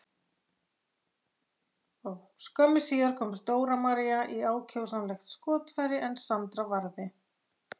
Skömmu síðar komst Dóra María í ákjósanlegt skotfæri en Sandra varði.